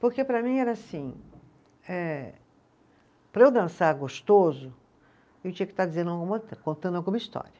Porque para mim era assim eh, para eu dançar gostoso, eu tinha que estar dizendo contando alguma história.